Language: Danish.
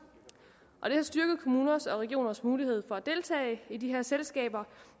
det har styrket kommuners og regioners mulighed for at deltage i de her selskaber